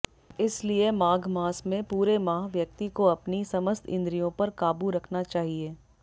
इसलिए माघ मास में पूरे माह व्यक्ति को अपनी समस्त इन्द्रियों पर काबू रखना चाहिए